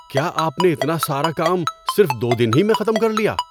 کیا آپ نے اتنا سارا کام صرف دو دن میں ہی ختم کر لیا؟